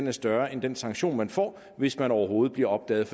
er større end den sanktion man får hvis man overhovedet bliver opdaget